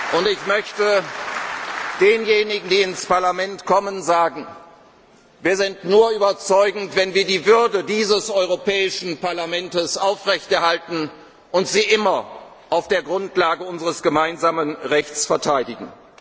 bemüht. Und ich möchte denjenigen, die ins Parlament kommen, sagen Wir sind nur überzeugend, wenn wir die Würde dieses Europäischen Parlaments aufrechterhalten und sie immer auf der Grundlage unseres gemeinsamen Rechts verteidigen!